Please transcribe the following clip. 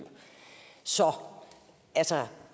så altså